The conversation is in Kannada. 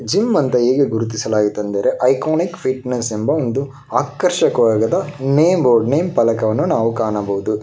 ಜಿಮ್ ಅಂತ ಈಗ ಗುರುತಿಸಲಾಗಿದೆ ಅಂದರೆ ಐಕಾನಿಕ್ ಫಿಟ್ನೆಸ್ ಎಂಬ ಒಂದು ಆಕರ್ಷಕವಾಗಿದ ನೇಮ್ ಬೋರ್ಡ್ ನೇಮ್ ಫಲಕವನ್ನು ಕಾಣಬಹುದು.